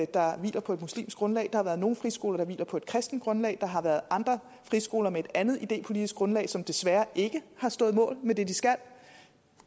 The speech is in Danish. der hviler på et muslimsk grundlag der har været nogle friskoler der hviler på et kristent grundlag der har været andre friskoler med et andet idépolitisk grundlag som desværre ikke har stået mål med det de skal